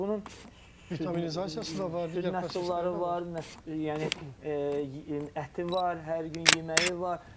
Amma bunun vitaminizasiyası da var, digərları var, yəni əti var, hər gün yeməyi var.